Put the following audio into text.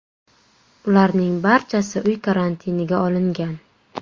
Ularning barchasi uy karantiniga olingan.